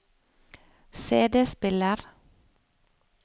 CD-spiller